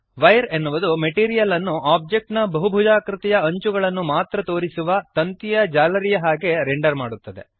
wire ಎನ್ನುವುದು material ಅನ್ನು object ನ ಬಹುಭುಜಾಕೃತಿಗಳ ಅಂಚುಗಳನ್ನು ಮಾತ್ರ ತೋರಿಸುವ ತಂತಿಯ ಜಾಲರಿಯ ಹಾಗೆ ರೆಂಡರ್ ಮಾಡುತ್ತದೆ